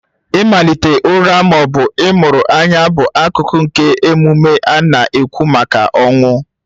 Ịmalite ụra ma ọ bụ ịmụrụ anya bụ akụkụ nke emume a na-akwụ maka ọnwụ